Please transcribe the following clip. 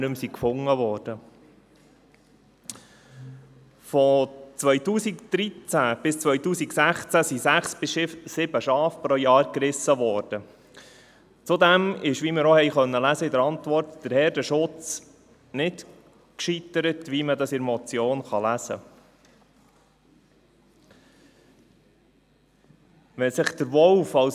Von 2013 bis 2016 wurden pro Jahr sechs bis sieben Schafe gerissen, und wie wir auch in der Antwort lesen konnten, ist der Herdenschutz nicht gescheitert, wie man das in der Motion lesen kann.